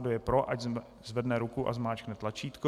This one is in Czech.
Kdo je pro, ať zvedne ruku a zmáčkne tlačítko.